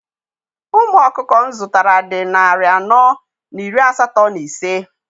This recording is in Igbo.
Ụmụ ọkụkọ m zụtara dị narị anọ na iri asatọ na ise.